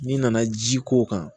N'i nana ji k'o kan